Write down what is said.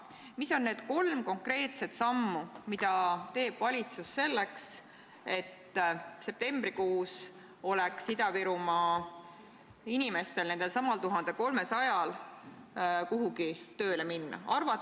Mis on need kolm konkreetset sammu, mis valitsus astub selleks, et septembrikuus oleks Ida-Virumaa inimestel, nendelsamadel 1300 inimesel kuhugi tööle minna?